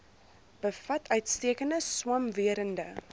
bevat uitstekende swamwerende